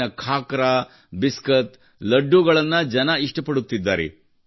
ಇಲ್ಲಿನ ಖಾಕ್ರಾ ಬಿಸ್ಕೆಟ್ ಲಡ್ಡೂಗಳನ್ನು ಜನರು ಇಷ್ಟಪಡುತ್ತಿದ್ದಾರೆ